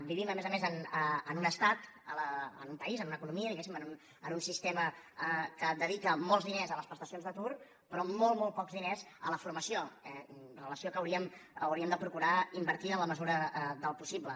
vivim a més a més en un estat en un país en una economia diguéssim en un sistema que dedica molts diners a les prestacions d’atur però molt molt pocs diners a la formació relació que hauríem de procurar invertir en la mesura del possible